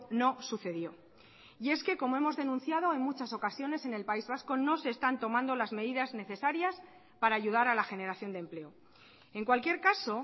no sucedió y es que como hemos denunciado en muchas ocasiones en el país vasco no se están tomando las medidas necesarias para ayudar a la generación de empleo en cualquier caso